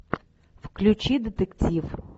включи детектив